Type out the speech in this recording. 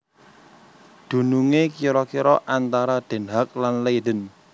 Dunungé kira kira antara Den Haag lan Leiden